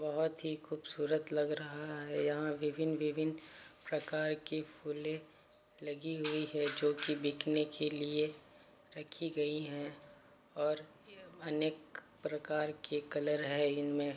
बहुत ही खूबसूरत लग रहा है यहां विभिन्न विभिन्न प्रकार के फूले लगी हुई है जोकि बिकने के लिए रखी गई है और अनेक प्रकार के कलर है इनमें।